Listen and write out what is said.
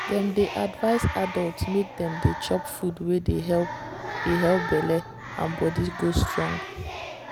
dem dey advise adults make dem dey chop food wey dey help dey help belle and body go strong.